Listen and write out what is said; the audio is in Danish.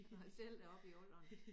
Når jeg selv er oppe i alderen